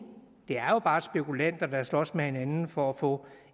det er jo bare spekulanter der slås med hinanden for at få